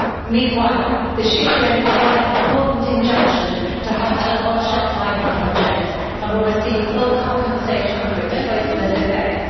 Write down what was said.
Meanwhile, the Xikrin have won an important injunction to halt the Onca Puma Mining Project and will receive full compensation for its poisonous effects.